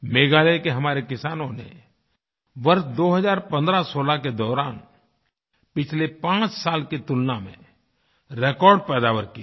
मेघालय के हमारे किसानों ने वर्ष 201516 के दौरान पिछले पाँच साल की तुलना में रेकॉर्ड पैदावार की है